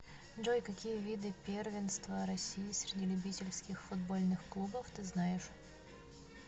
джой какие виды первенство россии среди любительских футбольных клубов ты знаешь